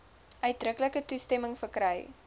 uitdruklike toestemming verkry